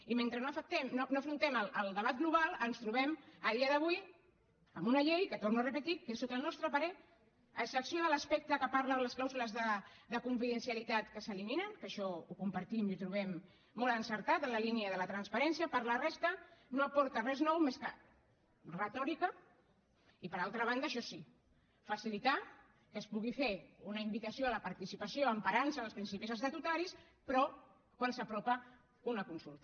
i mentre no afrontem el debat global ens trobem a dia d’avui amb una llei que ho torno a repetir sota el nostre parer a excepció de l’aspecte que parla de les clàusules de confidencialitat que s’eliminen que això ho compartim i ho trobem molt encertat en la línia de la transparència per la resta no aporta res nou més que retòrica i per altra banda això sí facilitar que es pugui fer una invitació a la participació emparant se en els principis estatutaris però quan s’apropa una consulta